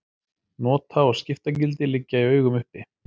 Nota- og skiptagildi liggja í augum uppi.